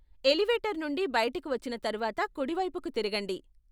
Elevator నుండి బయటికి వచ్చిన తర్వాత కుడివైపుకి తిరగండి.